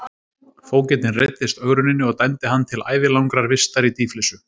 Fógetinn reiddist ögruninni og dæmdi hann til ævilangrar vistar í dýflissu.